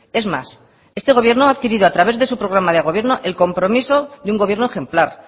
es más este gobierno ha adquirido a través de su programa de gobierno el compromiso de un gobierno ejemplar